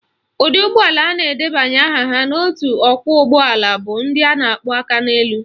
Ụdị ụgbọala na-edebanyeghi aha ha n'otu ọkwọụgbọala bụ ndị a na-akpọ Akaneelu